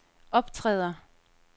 optræder